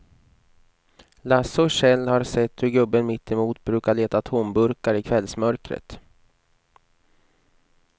Lasse och Kjell har sett hur gubben mittemot brukar leta tomburkar i kvällsmörkret.